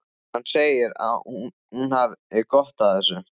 Hann segir að hún hafi gott af þessu.